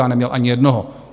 Já neměl ani jednoho.